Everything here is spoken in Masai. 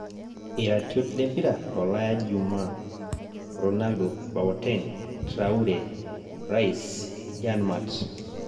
Iratiot lempira tolaya Juma; Ronaldo, Boateng' Traore, Rice, Janmaat